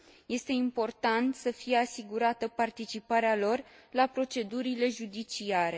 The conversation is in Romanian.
Este important să fie asigurată participarea lor la procedurile judiciare.